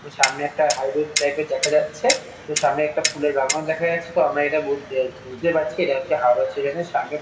সামনে একটা high road type -এর দেখা যাচ্ছে তো সামনে একটা ফুলের বাগানও দেখা যাচ্ছে তো আমরা এটা বদ এ বুঝতে পারছি এটা হচ্ছে হাওড়া স্টেশন -এর সামনে।